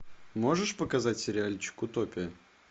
можешь показать сериальчик утопия